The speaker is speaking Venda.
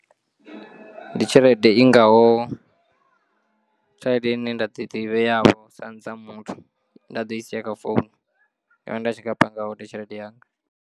Ndi tshelede i ngaho tshelede ine nda ḓi to i vheavho sa muthu nḓaḓo isiya kha founu yanga nda tshi nga panga hone tshelede yanga.